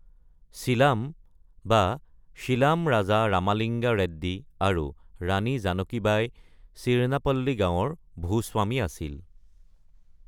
শীলাম বা শ্বীলাম ৰাজা ৰামালিংগা ৰেড্ডি আৰু ৰাণী জানকী বাই চিৰণাপল্লী গাঁৱৰ ভূ-স্বামী আছিল।